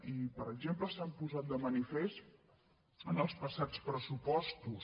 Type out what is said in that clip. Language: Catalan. i per exemple s’han posat de manifest en els passats pressupostos